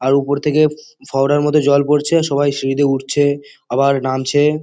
আর উপর থেকে ফোয়ারার মতো জল পড়ছে। সবাই সিঁড়ি দিয়ে উঠছে আবার নামছে।